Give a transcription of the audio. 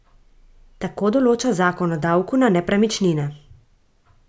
Tako določa zakon o davku na nepremičnine.